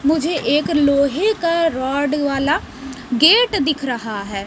मुझे एक लोहे का रॉड वाला गेट दिख रहा है।